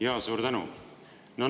Jaa, suur tänu!